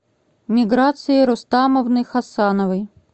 миграции рустамовны хасановой